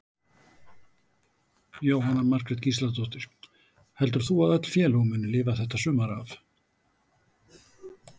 Jóhanna Margrét Gísladóttir: Heldur þú að öll félög muni lifa þetta sumar af?